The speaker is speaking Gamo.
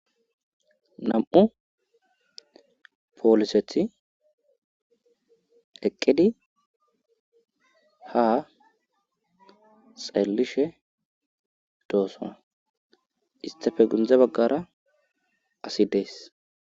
nam7u pooliseti eqqidi ha xaellishe doosa istafe gundze baggara asi dees